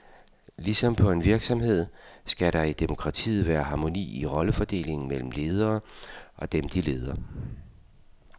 Ligesom på en virksomhed skal der i demokratiet være harmoni i rollefordelingen mellem ledere og dem, de leder.